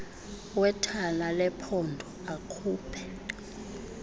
wethala lephondo akhuphe